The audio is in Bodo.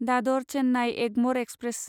दादर चेन्नाइ एगमर एक्सप्रेस